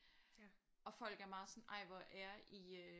Og folk er meget sådan ej hvor er I øh